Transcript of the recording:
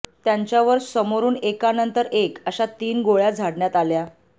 त्यांच्यावर समोरून एकानंतर एक अशा तीन गोळ्या झाडण्यात आल्या